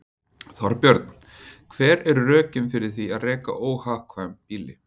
Þorbjörn: Hver eru rökin fyrir því að reka óhagkvæm býli?